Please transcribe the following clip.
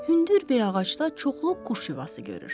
Hündür bir ağacda çoxlu quş yuvası görür.